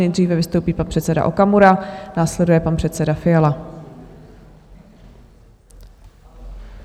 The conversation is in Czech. Nejdříve vystoupí pan předseda Okamura, následuje pan předseda Fiala.